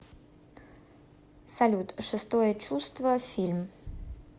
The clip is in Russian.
салют шестое чувство фильм